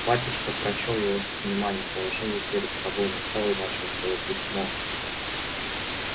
батюшка прочёл его с вниманием положил перед собою на стол и начал своё письмо